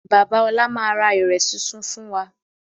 Bàbá ọlá máa ra ìrẹ̀ súnsun fún wa